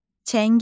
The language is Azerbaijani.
Çəngəl.